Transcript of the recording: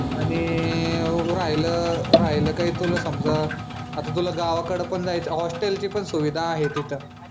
आणि राहिलं राहिलं कही तुला समजा आत्ता तुला गावाकडं पण जायचंय हॉस्टेल ची पण सुविधा आहे तिथं.